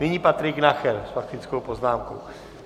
Nyní Patrik Nacher s faktickou poznámkou.